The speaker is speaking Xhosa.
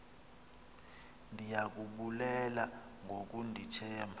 ndiya kubulela ngokundithemba